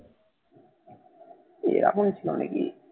এ এমন